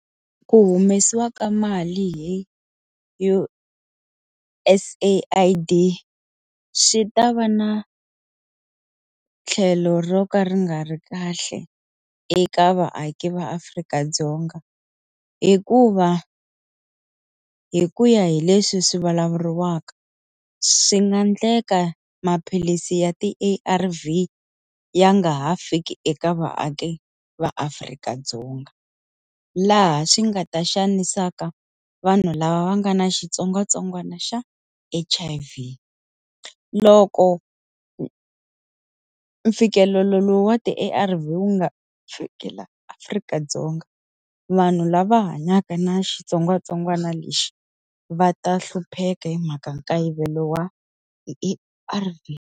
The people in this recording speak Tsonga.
Ku humesiwa ka mali hi U_S AID swi ta va na tlhelo ro ka ri nga ri kahle eka vaaki va Afrika-Dzonga hikuva, hi ku ya hi leswi swi vulavuriwaka swi nga endleka maphilisi ya ti-A_R_V ya nga ha fiki eka vaaki va Afrika-Dzonga. Laha swi nga ta xanisaka vanhu lava va nga na xitsongwatsongwana xa H_I_V. Loko mfikelelo wa ti-A_R_V wu nga fiki laha Afrika-Dzonga, vanhu lava hanyaka na xitsongwatsongwana lexi va ta hlupheka hi mhaka nkayivelo wa ti-A_R_V.